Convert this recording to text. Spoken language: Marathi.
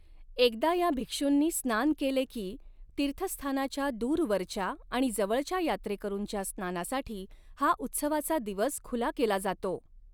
एकदा या भिक्षूंनी स्नान केले की, तीर्थस्थानाच्या दूरवरच्या आणि जवळच्या यात्रेकरूंच्या स्नानासाठी हा उत्सवाचा दिवस खुला केला जातो.